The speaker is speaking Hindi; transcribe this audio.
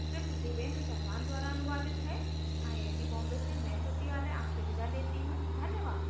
यह स्क्रिप्ट देवेन्द्र कैरवान द्वारा अनुवादित है आई आई टी बॉम्बे की ओर से मैं श्रुति आर्य आपसे विदा लेती हूँ धन्यवाद